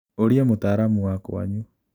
ũria mũtaramu wakwanyu.